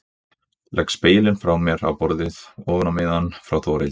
Legg spegilinn frá mér á borðið ofan á miðann frá Þórhildi.